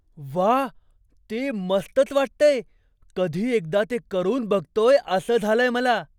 व्वा, ते मस्तच वाटतंय! कधी एकदा ते करून बघतोय असं झालंय मला.